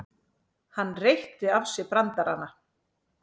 Hann reytti af sér brandarana.